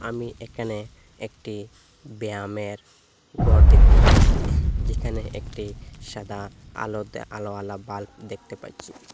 আমি এখানে একটি ব্যায়ামের ঘর দেখতে পাচ্ছি যেখানে একটি সাদা আলো দে আলোয়ালা বাল্ব দেখতে পাচ্ছি।